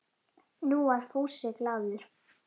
Nú var Fúsi glaður.